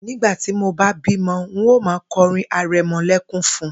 Nígbà tí mo bá bímo̩, n óò máa ko̩rín are̩mo̩lé̩kún fun